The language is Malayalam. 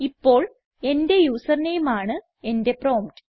ഇപ്പോൾ എന്റെ യൂസർ നെയിം ആണ് എന്റെ പ്രോംപ്റ്റ്